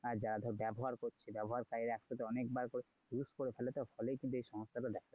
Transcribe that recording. হ্যাঁ যারা ধর ব্যবহার করছে ব্যবহার site একসাথে অনেকবার করে use করে ফেলতো ফলেই কিন্তু এই সমস্যাটা দেখা যায়।